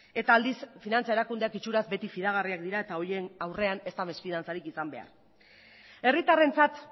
eta aldiz finantza erakundeak itxuraz beti fidagarriak dira eta horien aurrean ez da mesfidantzarik izan behar herritarrentzat